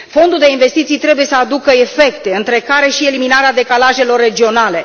Fondul de investiții trebuie să aibă efecte, printre care și eliminarea decalajelor regionale.